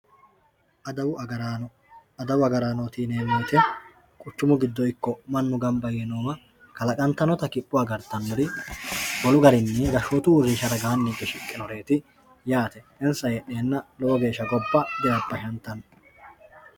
Adawu agaraano, adawu agaraanno yinemoti quchumu gido ikko manu gamba yinowa kalaqantanotta kipho agaritanori wolu garinni gashootu uurinsha widoni higge shiqinoreeti yaate insa heedhenna lowo geesha gobba di, rabashantanno